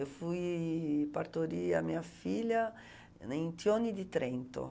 Eu fui partorir a minha filha em Tione di Trento.